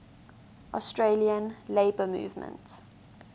australian labour movement